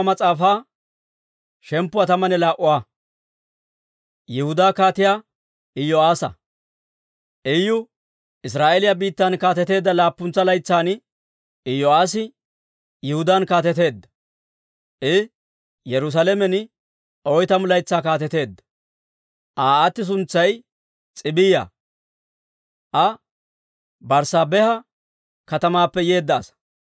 Iyu Israa'eeliyaa biittan kaateteedda laappuntsa laytsan, Iyo'aassi Yihudaan kaateteedda; I Yerusaalamen oytamu laytsaa kaateteedda. Aa aati suntsay S'iibiyaa; Aa Berssaabeha katamaappe yeedda asaa.